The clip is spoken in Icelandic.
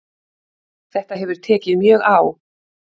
Þetta hefur tekið mjög á